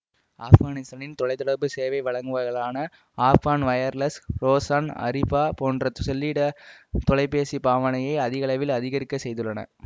ஆப்கானித்தானின் தொலை தொடர்பு சேவை வழங்குவர்களான ஆப்கான் வயர்லெஸ் றோசான் அறீபா போன்றன செல்லிடத் தொலைபேசிப் பாவனையை அதிகளவில் அதிகரிக்க செய்துள்ளன